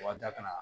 Wa da kana